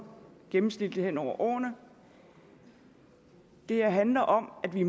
gennemsnitlig hen over årene det her handler om at vi